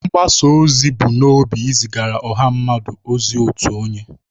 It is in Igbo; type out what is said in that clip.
Mgbasa ozi bu n'obi izigara ọha mmadụ ozi otu onye.